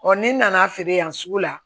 ni n nana feere yan sugu la